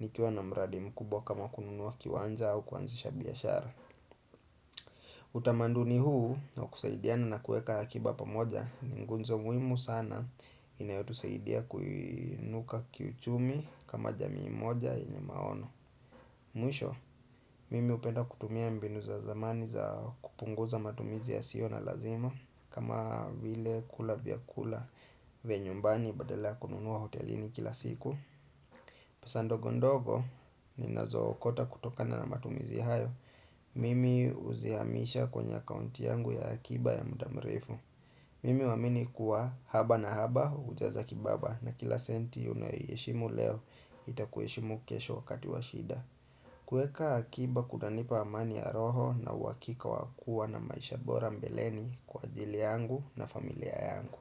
nikiwa na mradi mkubwa kama kununua kiwanja au kuanzisha biashara Utamandu ni huu na kusaidiana na kuweka akiba pamoja ni ngunzo muhimu sana inayotu saidia kuinuka kiuchumi kama jamii moja yenyemaono Mwisho, mimi hupenda kutumia mbinu za zamani za kupunguza matumizi ya sio na lazima kama vile kula vya kula ve nyumbani badala ya kununua hotelini kila siku pesa ndogo ndogo ni nazo okota kutokana na matumizi hayo Mimi huzihamisha kwenye akaunti yangu ya akiba ya mdamrefu Mimi huamini kuwa haba na haba hujaza kibaba na kila senti unayoiheshimu leo itakuheshimu kesho wakati washida kueka akiba kunanipa amani ya roho na uhakika wakua na maisha bora mbeleni kwa ajili yangu na familia yangu.